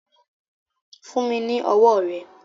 Fún mi ni ọwọ́ rẹ.